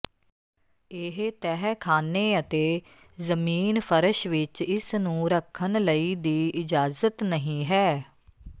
ਇਹ ਤਹਿਖ਼ਾਨੇ ਅਤੇ ਜ਼ਮੀਨ ਫ਼ਰਸ਼ ਵਿਚ ਇਸ ਨੂੰ ਰੱਖਣ ਲਈ ਦੀ ਇਜਾਜ਼ਤ ਨਹੀ ਹੈ